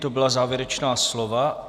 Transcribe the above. To byla závěrečná slova.